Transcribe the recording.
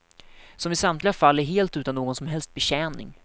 Som i samtliga fall är helt utan någon som helst betjäning.